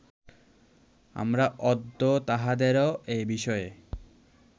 আমরা অদ্য তাঁহাদের এ বিষয়ে